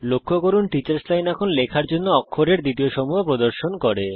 লক্ষ্য করুন teachers line এখন লেখার জন্য অক্ষরের দ্বিতীয় সমূহ প্রদর্শন করে